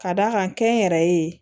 Ka d'a kan kɛnyɛrɛye